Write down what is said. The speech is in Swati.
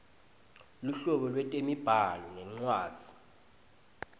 luhlobo lwetemibhalo nencwadzi